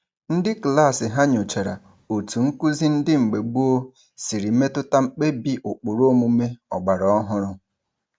Ndị klaasị ha nyochara otu nkụzi ndị mgbe gboo siri metụta mkpebi ụkpụrụ omume ọgbara ọhụrụ.